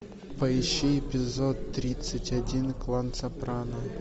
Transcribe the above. поищи эпизод тридцать один клан сопрано